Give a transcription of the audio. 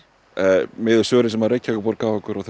miðað við svörin sem Reykjavíkurborg gaf okkur og